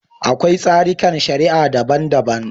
Akwai tsarikan shari'a daban-daban.